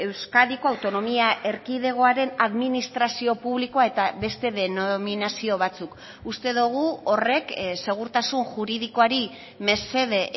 euskadiko autonomia erkidegoaren administrazio publikoa eta beste denominazio batzuk uste dugu horrek segurtasun juridikoari mesede